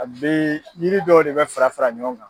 A bɛ yiri dɔw de bɛ fara fara ɲɔgɔn kan.